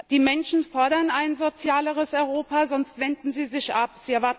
Die Menschen fordern ein sozialeres Europa, sonst wenden sie sich ab.